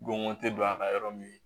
Gonko tɛ don a ka yɔrɔ min